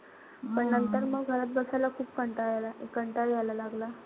पण नंतर अंग घरात बसायला खूप कंटाळा यायला कंटाळा यायला लागला.